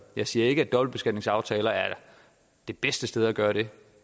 jeg siger ikke at dobbeltbeskatningsaftaler er det bedste sted at gøre det